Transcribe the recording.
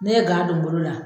N'i ye gan don n bolo la